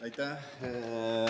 Aitäh!